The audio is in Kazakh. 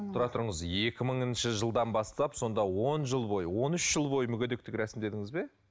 тұра тұрыңыз екі мыныңшы жылдан бастап сонда он жыл бойы он үш жыл бойы мүгедектік рәсімдедіңіз бе